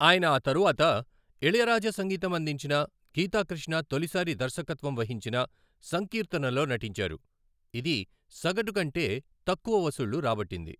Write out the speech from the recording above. ఆయన ఆ తరువాత, ఇళయరాజా సంగీతం అందించిన, గీతాకృష్ణ తొలిసారి దర్శకత్వం వహించిన సంకీర్తనలో నటించారు, ఇది సగటు కంటే తక్కువ వసూళ్ళు రాబట్టింది.